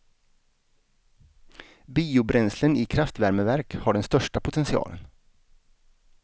Biobränslen i kraftvärmeverk har den största potentialen.